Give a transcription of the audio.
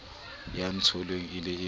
ya ntsotellang e le ka